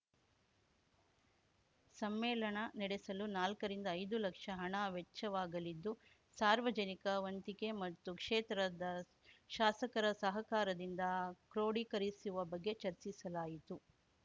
ಸಮ್ಮೇಳನ ನಡೆಸಲು ನಾಲ್ಕರಿಂದ ಐದುಲಕ್ಷ ಹಣ ವೆಚ್ಚವಾಗಲಿದ್ದು ಸಾರ್ವಜನಿಕ ವಂತಿಕೆ ಮತ್ತು ಕ್ಷೇತ್ರದ ಶಾಸಕರ ಸಹಕಾರದಿಂದ ಕ್ರೋಡಿ ಕರಿಸುವ ಬಗ್ಗೆ ಚರ್ಚಿಸಲಾಯಿತು